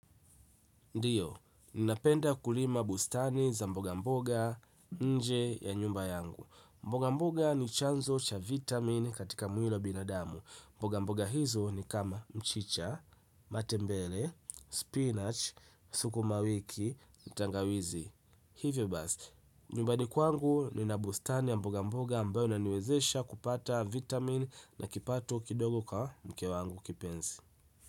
Ndiyo, ninapenda kulima bustani za mboga mboga nje ya nyumba yangu. Mboga mboga ni chanzo cha vitamini katika mwili wa binadamu mboga mboga hizo ni kama mchicha, matembele, spinach, sukumawiki, tangawizi. Hivyo basi. Nyumbani kwangu nina bustani ya mboga mboga ambayo inaniwezesha kupata vitamin na kipato kidogo kwa mke wangu kipenzi.